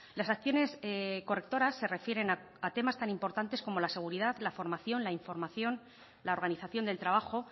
las acciones correctoras se refieren a temas tan importantes como la seguridad la formación la información la organización del trabajo